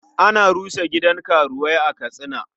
An rusa gidan karuwai a Katsina.